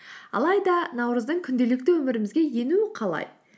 алайда наурыздың күнделікті өмірімізге енуі қалай